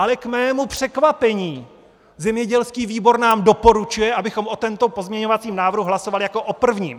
Ale k mému překvapení zemědělský výbor nám doporučuje, abychom o tomto pozměňovacím návrhu hlasovali jako o prvním!